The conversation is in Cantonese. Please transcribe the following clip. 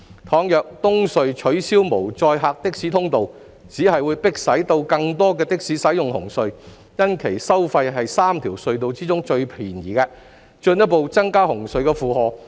倘若東隧取消無載客的士通道，只會迫使更多的士使用紅隧，因其收費是3條隧道中最便宜的，進一步增加紅隧的負荷。